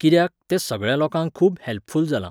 कित्याक, ते सगळ्या लोकांक खूब हॅल्पफुल जालां.